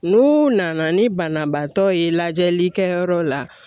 N'u nana ni banabaatɔ ye lajɛli kɛ yɔrɔ la